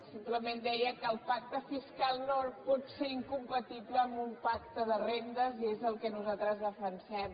simplement deia que el pacte fiscal no pot ser incompatible amb un pacte de rendes i és el que nosaltres defensem